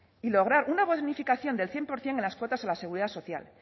y lograr una bonificación del cien por ciento en las cuotas a la seguridad social